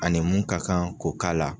A ni mun ka kan ko k'ala.